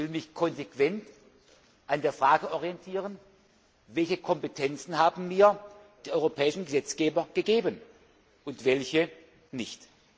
Ich will mich konsequent an der Frage orientieren Welche Kompetenzen haben mir die europäischen Gesetzgeber gegeben und welche nicht?